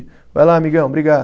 Vai lá, amigão, obrigado.